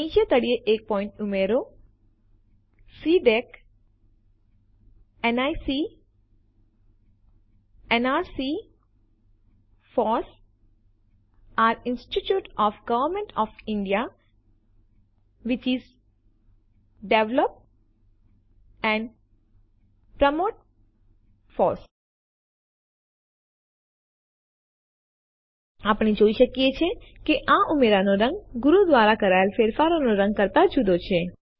નીચે તળિયે એક પોઈન્ટ ઉમેરો CDAC NIC nrc FOSS are institutions of government of India which develop and promote FOSS આપણે જોઈ શકીએ છીએ કે આ ઉમેરાનો રંગ ગુરુ દ્વારા કરાયેલ ફેરફારોના રંગ કરતા જુદો છે